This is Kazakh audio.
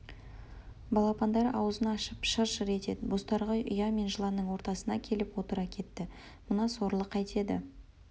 балапандары аузын ашып шыр-шыр етеді бозторғай ұя мен жыланның ортасына келіп отыра кетті мына сорлы қайтеді